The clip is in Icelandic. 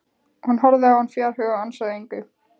Hún horfði á hann fjarhuga og ansaði engu.